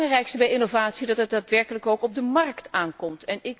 Het is het belangrijkste bij innovatie dat het daadwerkelijk ook op de márkt aankomt.